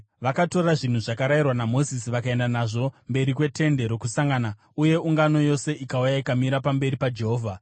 Vakatora zvinhu zvakarayirwa naMozisi vakaenda nazvo mberi kweTende Rokusangana uye ungano yose ikauya ikamira pamberi paJehovha.